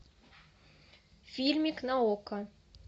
фильмик на окко